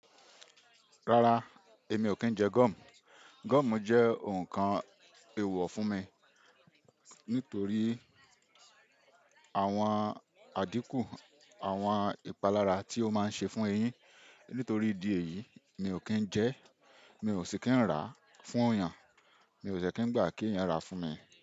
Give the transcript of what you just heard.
Rárá, èmi ò kí ń jẹ gúm. Gúómù jẹ́ ǹkan èèwọ̀ fún mi nítorí àwọn àdínkù, àwọn ìpalára tí ó máa ń ṣe fún eyín. Nítorí ìdí èyí, mi ò kí ń jẹ ẹ́, mi ò sì kí ń rà á fún yàn, mi ò de kí ń gbà kí ènìyàn rà á fún mi.